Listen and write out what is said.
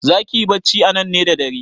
Zaki yi bacci anan ne da dare?